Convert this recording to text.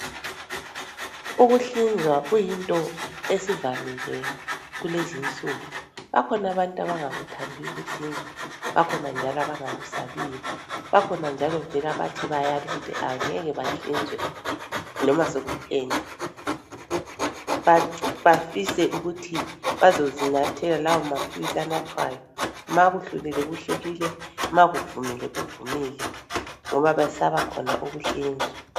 Ukuhlinzwa kuyinto esivamile kulezi nsuku. Bakhona abantu abangakuthandiyo ukuhlinzwa, bakhona njalo abangakusabiyo, bakhona njalo vele abathi bayala ukuthi abangeke bahlinzwe loba sekutheni. Bafise ukuthi bazozinathela lawo maphilisi anathwayo makudlulile ma kuvumile kuvumile ngoba bayesaba khona ukuhlinzwa.